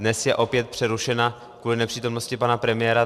Dnes je opět přerušena kvůli nepřítomnosti pana premiéra.